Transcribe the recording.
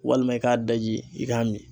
Walima i k'a daji i k'a min.